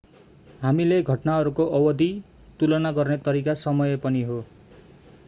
हामीले घटनाहरूको अवधि लम्बाई तुलना गर्ने तरिका समय पनि हो।